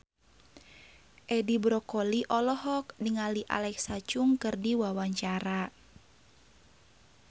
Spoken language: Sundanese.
Edi Brokoli olohok ningali Alexa Chung keur diwawancara